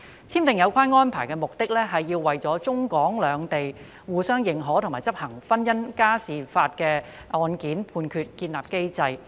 簽訂有關《安排》的目的，是要為中港兩地相互認可和執行婚姻家庭民事案件判決建立機制。